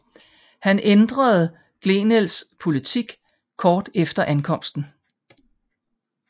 Han ændrede Glenelgs politik kort tid efter ankomsten